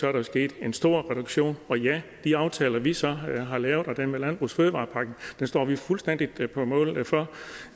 er der sket en stor reduktion og ja de aftaler vi så har lavet og dermed landbrugs og fødevarepakken står vi fuldstændig på mål for